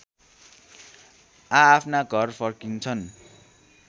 आआफ्ना घर फर्किन्छन्